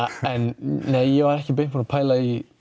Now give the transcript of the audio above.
nei ég var ekki beint búinn að pæla í